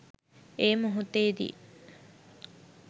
ඒ මොහොතේදී